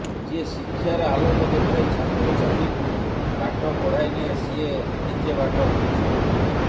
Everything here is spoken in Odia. ଯିଏ ଶିକ୍ଷାର ଆଲୋକ ଦେଖାଇ ଛାତ୍ରଛାତ୍ରୀଙ୍କୁ ବାଟ କଢ଼ାଇନିଏ ସିଏ ନିଜେ ବାଟ ହୁଡ଼ିଛି